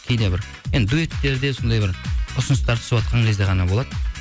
кейде бір енді дуэттерде сондай бір ұсыныстар түсіватқан кезде ғана болады